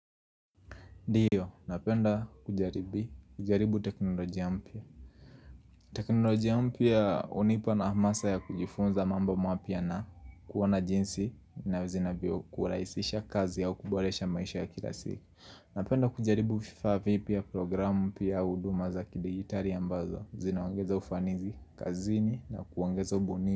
Ndiyo, napenda kujaribu teknolojia mpya. Teknolojia mpya hunipa na hamasa ya kujifunza mambo mapya na kuwa najinsi na zinavyo kurahisisha kazi au kuboresha maisha ya kila siku. Napenda kujaribu vifa vipya vya programu pia huduma za kidigitali ambazo, zinawaongeza ufanisi, kazini na kuwaongeza ubunifu.